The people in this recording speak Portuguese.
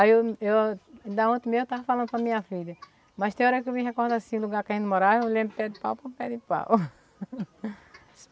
Aí eu, eu da ontem mesmo eu estava falando para minha filha, mas tem hora que eu me recordo assim, lugar que a gente morava, eu lembro de pé de pau por pé de pau.